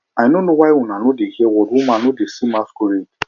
i no know why una no dey hear word women no dey see masquerade